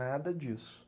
Nada disso.